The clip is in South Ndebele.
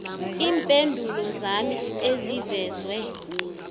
iimpendulo zami ezivezwe